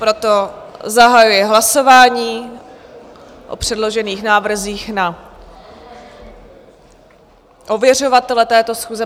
Proto zahajuji hlasování o předložených návrzích na ověřovatele této schůze.